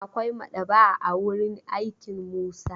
Akwai maɗaba'a a wurin aikin Musa.